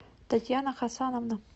татьяна хасановна